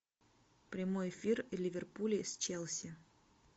прямой эфир ливерпуля с челси